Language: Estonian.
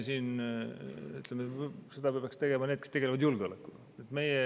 Seda peavad tegema need, kes tegelevad julgeolekuga.